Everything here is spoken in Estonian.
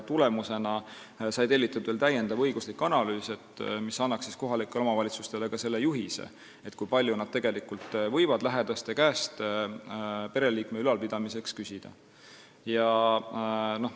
Tulemusena sai tellitud täiendav õiguslik analüüs, mis annaks kohalikele omavalitsustele juhise, kui palju nad tegelikult võivad lähedaste käest pereliikme ülalpidamiseks raha küsida.